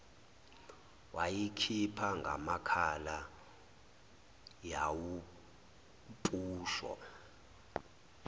wayikhipha ngamakhala yawumphusho